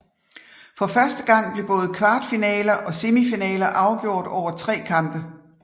For første gang blev både kvartfinaler og semifinaler afgjort over tre kampe